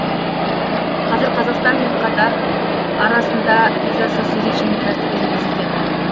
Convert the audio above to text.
қазір қазақстан мен катар арасында визасыз режим тәртібі енгізілген